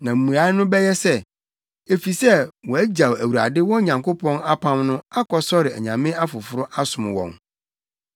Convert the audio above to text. Na mmuae no bɛyɛ sɛ, ‘Efisɛ wɔagyaw Awurade, wɔn Nyankopɔn apam no akɔsɔre anyame afoforo asom wɔn.’ ”